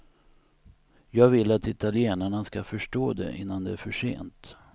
Jag vill att italienarna skall förstå det innan det är för sent.